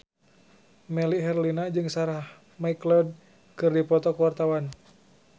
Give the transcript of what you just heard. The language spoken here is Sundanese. Melly Herlina jeung Sarah McLeod keur dipoto ku wartawan